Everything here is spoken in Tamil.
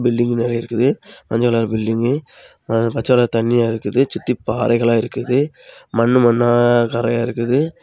பில்டிங் நிறைய இருக்குது மஞ்சள் கலர் பில்டிங் பச்ச கலர் தண்ணியா இருக்குது சுத்தி பாறைகளா இருக்குது மண்ணு மண்ணு கரையா இருக்குது.